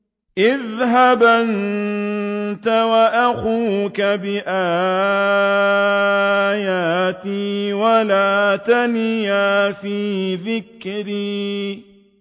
اذْهَبْ أَنتَ وَأَخُوكَ بِآيَاتِي وَلَا تَنِيَا فِي ذِكْرِي